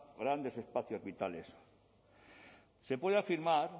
grandes espacios vitales se puede afirmar